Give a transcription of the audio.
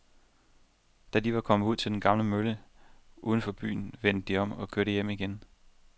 Da de var kommet ud til den gamle mølle uden for byen, vendte de om og kørte hjem igen.